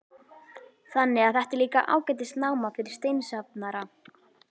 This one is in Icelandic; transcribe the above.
Þannig að þetta er líka ágætis náma fyrir steinasafnara?